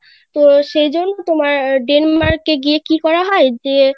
তো সেইজন্য তোমার Denmark এ গিয়ে কি করা হয় যে